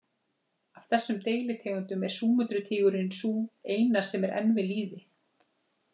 Af þessum deilitegundum er Súmötru-tígurinn sú eina sem er enn við lýði.